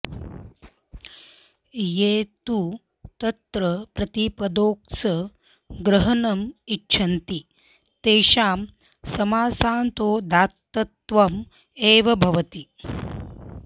ये तु तत्र प्रतिपदोक्तस्य ग्रहणम् इच्छन्ति तेषां समासान्तोदात्तत्वम् एव भवति